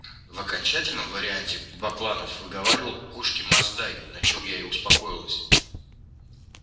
в окончательном варианте бакланов выговаривал кошки масдай на чем я и успокоилась